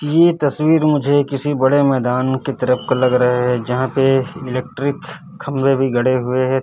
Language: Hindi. ये तस्वीर मुझे किसी बड़े मैदान की तरफ का लग रहे है यहां पे इलेक्ट्रिक खंभे भी गड़े हुए है।